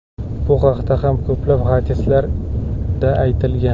Bu haqda ham ko‘p hadislarda aytilgan.